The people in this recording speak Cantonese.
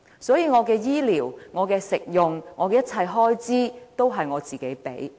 所以，我的醫療、食用和一切開支也由我自己支付。